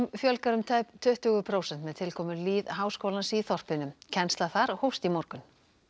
fjölgar um tæp tuttugu prósent með tilkomu lýðháskólans í þorpinu kennsla þar hófst í morgun